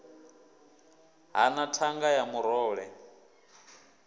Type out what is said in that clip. ha na thanga ya murole